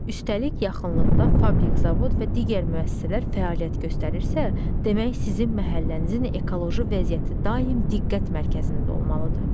Üstəlik, yaxınlıqda fabrik, zavod və digər müəssisələr fəaliyyət göstərirsə, demək sizin məhəllənizin ekoloji vəziyyəti daim diqqət mərkəzində olmalıdır.